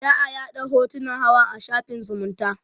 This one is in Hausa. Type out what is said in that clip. za'a yaɗa hotunan hawan a shafin zumunta